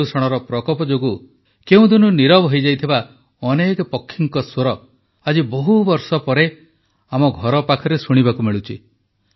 ପ୍ରଦୂଷଣର ପ୍ରକୋପ ଯୋଗୁଁ କେଉଁଦିନୁ ନୀରବ ହୋଇଯାଇଥିବା ଅନେକ ପକ୍ଷୀଙ୍କ ସ୍ୱର ଆଜି ବହୁବର୍ଷ ପରେ ଆମ ଘରପାଖରେ ଶୁଣିବାକୁ ମିଳୁଛି